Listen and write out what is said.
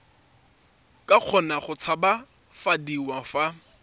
ka kgona go tshabafadiwa fa